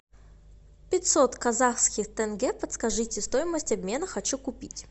пятьсот казахских тенге подскажите стоимость обмена хочу купить